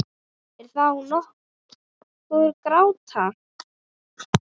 Er þá nokkur gáta?